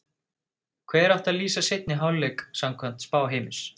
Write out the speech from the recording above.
Hver átti að lýsa seinni hálfleik samkvæmt spá Heimis?